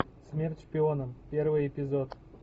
смерть шпионам первый эпизод